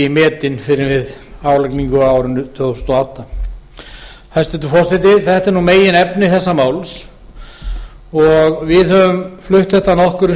metinn fyrr en við álagningu á árinu tvö þúsund og átta hæstvirtur forseti þetta er meginefni málsins við þingmenn frjálslynda flokksins höfum flutt þetta nokkrum